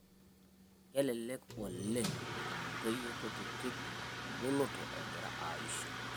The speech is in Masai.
Kelelek oleng' etum ntoyie kutitik engoloto egira aiisho